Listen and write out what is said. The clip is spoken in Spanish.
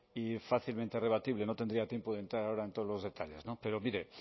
y fácilmente rebatibles no tendría tiempo de entrar ahora en todos los detalles no pero mire